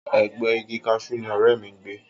Ẹ̀gbẹ́ẹ igi kaṣú ni ọ̀rẹ́ mi ń gbé